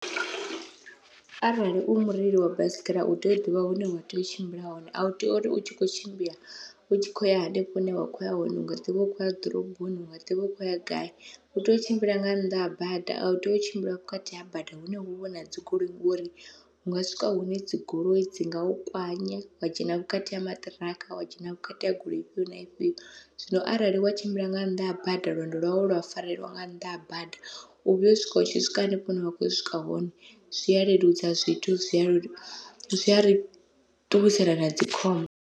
Arali u mureili wa baisigira utea u ḓivha hune wa tea u tshimbila hone, au tei uri u tshi kho tshimbila u tshi kho ya hanefho hune wa kho ya hone unga ḓivha u kho ya ḓoroboni unga ḓivha u khou ya gai, utea u tshimbila nga nnḓa ha bada au tei u tshimbila vhukati ha bada hune huvha huna dzigoloi ngori unga swika hune dzigoloi dzi ngau kwanya wa dzhena vhukati ha maṱiraka wa dzhena vhukati ha goloi ifhio na ifhio. Zwino arali wa tshimbila nga nnḓa ha bada lwendo lwau lwa fareliwa nga nnḓa ha bada u vhuya u swika u tshi swika hanefho hune wa kho swika hone, zwi a leludza zwithu zwi a zwi a ri ṱuwisela na dzikhombo.